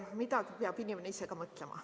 Midagi peab inimene ise ka mõtlema.